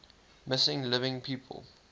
missing living people